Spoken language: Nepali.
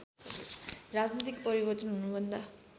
राजनीतिक परिवर्तन हुनुभन्दा